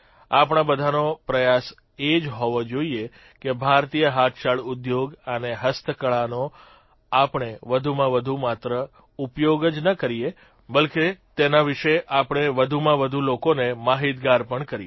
આપણા બધાનો પ્રયાસ એ જ હોવો જોઇએ કે ભારતીય હાથશાળ ઉદ્યોગ અને હસ્તકળાનો આપણે વધુમાં વધુ માત્ર ઉપયોગ જ ન કરીએ પરંતુ તેના વિષે આપણે વધુમાં વધુ લોકોને માહીતગાર પણ કરીએ